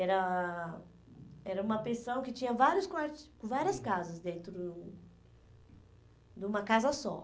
Era era uma pensão que tinha vários quar, várias casas dentro de uma casa só.